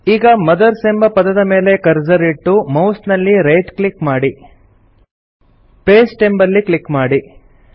ಈಗ ಮದರ್ಸ್ ಎಂಬ ಪದದ ಮೇಲೆ ಕರ್ಸರ್ ಇಟ್ಟು ಮೌಸ್ ನಲ್ಲಿ ರೈಟ್ ಕ್ಲಿಕ್ ಮಾಡಿ ಪಾಸ್ಟೆ ಅಂಬಲ್ಲಿ ಕ್ಲಿಕ್ ಮಾಡಿ